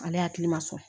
Ale hakili ma sɔn